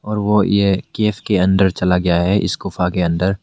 वह यह केस के अंदर चला गया है इस गुफा के अंदर।